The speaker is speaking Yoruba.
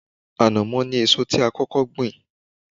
Ànàmọ́ ni èso tí a kókó gbìn